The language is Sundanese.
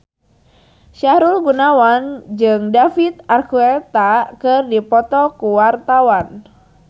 Sahrul Gunawan jeung David Archuletta keur dipoto ku wartawan